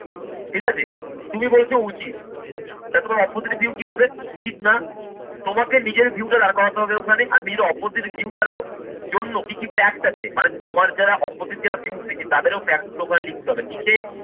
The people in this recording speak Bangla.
ঠিক আছে? তুমি বলছো উচিত তাহলে তোমার opposite view কি হবে? উচিত না। তোমাকে নিজের view টা দাঁড় করাতে হবে ওখানে আর নিজের opposite view টার ও জন্য কি কি fact আছে মানে তোমার যারা opposite যারা views দিচ্ছে তাদেরও fact profile লিখতে হবে, লিখে